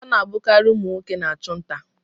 Ọ na-abụkarị ụmụ nwoke na-achụ nta.